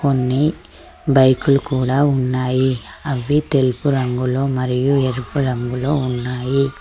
కొన్ని బైకు లు కూడా ఉన్నాయి అవి తెలుపు రంగులో మరియు ఎరుపు రంగులో ఉన్నాయి.